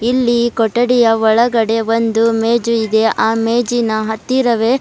ಇಲ್ಲಿ ಕೊಠಡಿಯಒಳಗೆಡೆ ಒಂದು ಮೇಜು ಇದೆ ಆ ಮೇಜಿನ ಹತ್ತಿರವೇ--